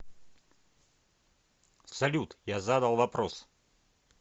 салют я задал вопрос